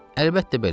Əlbəttə belədir.